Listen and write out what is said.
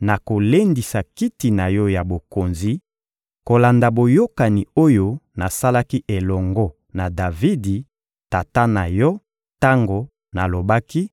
nakolendisa kiti na yo ya bokonzi kolanda boyokani oyo nasalaki elongo na Davidi, tata na yo, tango nalobaki: